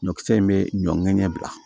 Ɲɔkisɛ in be ɲɔ ŋɛɲɛ bila